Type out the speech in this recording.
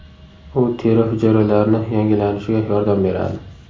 U teri hujayralarini yangilanishiga yordam beradi.